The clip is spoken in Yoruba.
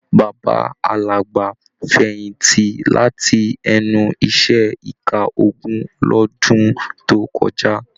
Bàbá Àlàbá fẹ̀yìntì láti ẹnu iṣẹ ẹ̀ka ogun l'ọdun to kọjá.